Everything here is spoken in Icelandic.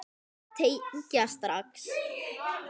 Þau tengja strax.